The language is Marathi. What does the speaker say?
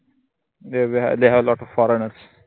therewehavetheyhavelotofforeigners